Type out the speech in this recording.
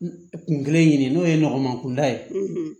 Kun kelen ɲini n'o ye nɔgɔman kunda ye